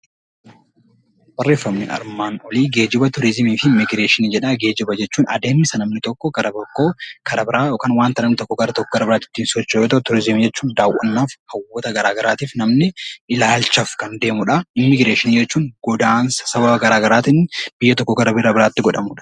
Barreeffamni armaan olii geejjiba, turizimii fi immigireeshinii jedha. Geejjiba jechuun kan namni tokko gara tokkoo gara wanta biraatti geessuu yammuu ta'u; turizimii jechuun immoo daawwannaaf kan bakka hawwataa garaa garaatiif namni ilaalchaaf kan deemuudha. Immigireeshinii jechuun godaansa sababa garaa garaatiin biyya tokkoo gara biyya biraatti godhamuudha.